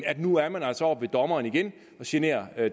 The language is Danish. at nu er man altså oppe hos dommeren igen og genere